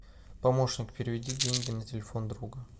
помощник переведи деньги на телефон друга